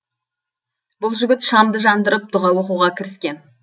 бұл жігіт шамды жандырып дұға оқуға кіріскен